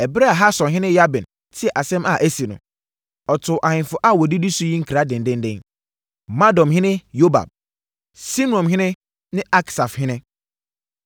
Ɛberɛ a Hasorhene Yabin tee asɛm a asi no, ɔtoo ahemfo a wɔdidi so yi nkra dendeenden: Madonhene Yobab, Simronhene ne Aksafhene;